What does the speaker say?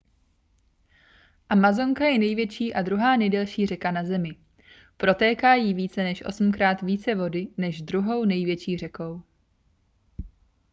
amazonka je největší a druhá nejdelší řeka na zemi protéká jí více než osmkrát více vody než druhou největší řekou